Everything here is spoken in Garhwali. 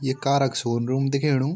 ये कार क शोनरूम दिखेणु।